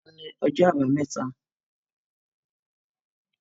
Ọlá ni ọjọ́ àbámẹ́ta